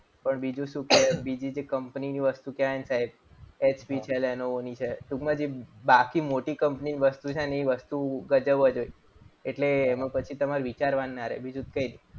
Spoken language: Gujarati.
પણ બીજું શું કે કે બીજી કે કંપનીની વસ્તુ કહેવાય ને સાહેબ. એચપી છે લેનોવો એની છે ટૂંકમાં જે બાકી મોટી કંપની ની વસ્તુ છે ને એ વસ્તુ ગજબ જ હોય. એટલે પછી એમાં તમારે વિચારવાનું ના રહે બીજું કંઈ નહીં.